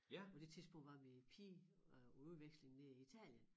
På det tidspunkt var min pige øh på udveksling nede i Italien